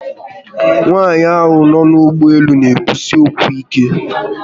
Nwaanyi ahu no n'ugboelu n'ekwusi okwu ike